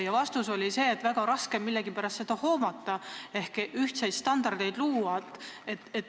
Vastus oli see, et seda on millegipärast väga raske hoomata ehk ühtseid standardeid luua.